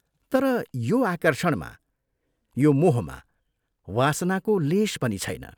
तर यो आकर्षणमा, यो मोहमा वासनाको लेश पनि छैन।